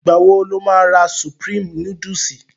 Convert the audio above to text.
Ìgbà wo lo má ra Supreme núdúsì?